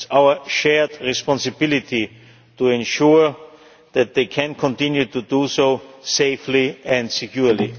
It is our shared responsibility to ensure that they can continue to do so safely and securely.